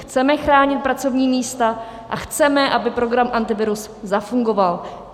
Chceme chránit pracovní místa a chceme, aby program Antivirus zafungoval.